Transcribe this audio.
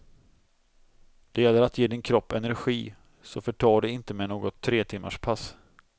Det gäller att ge din kropp energi, så förta dig inte med något tretimmarspass.